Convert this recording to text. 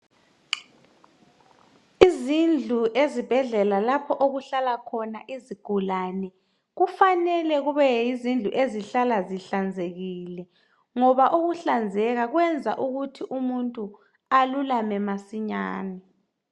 Izindlu ezibhedlela lapho okuhlala khona izigulani kufanele zihlale zihlanzekile, ngoba ukuhlanzeka kuyenza ukuthi umuntu alulame masinyane.